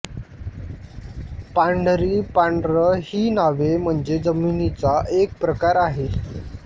पांढरी पांढर ही नावे म्हणजे जमिनीचा एक प्रकार आहे